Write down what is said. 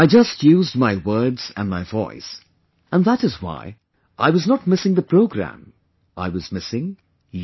I just used my words and my voice and that is why, I was not missing the programme... I was missing you